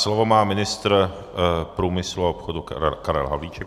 Slovo má ministr průmyslu a obchodu Karel Havlíček.